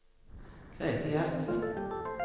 Grete Gjertsen